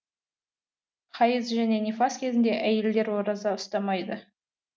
хайыз және нифас кезінде әйелдер ораза ұстамайды